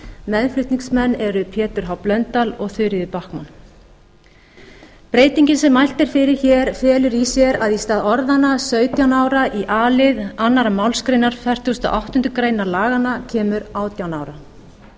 meðflutningsmenn eru pétur h blöndal og þuríður backman breytingin sem mælt er fyrir felur það í sér að í stað orðanna sautján ára í a lið annarrar málsgreinar fertugustu og áttundu grein laganna kemur átján ára